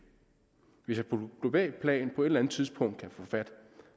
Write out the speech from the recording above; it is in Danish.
hvis jeg på globalt plan på et eller andet tidspunkt kan få fat